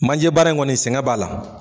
Manje baara in kɔni sɛgɛn b'a la.